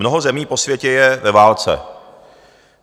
Mnoho zemí po světě je ve válce.